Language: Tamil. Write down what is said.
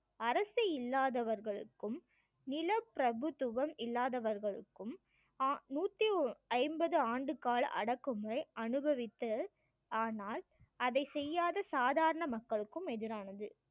அரசு இல்லாதவர்களுக்கும் நிலப்பிரபுத்துவம் இல்லாதவர்களுக்கும் அஹ் நூற்றி ஐம்பது ஆண்டுகால அடக்குமுறை அனுபவித்து ஆனால் அதை செய்யாத சாதாரன மக்களுக்கும் எதிரானது